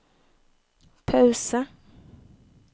pause